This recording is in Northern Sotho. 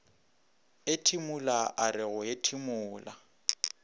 ethimola a re go ethimola